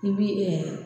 I bi